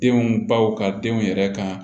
Denw baw ka denw yɛrɛ kan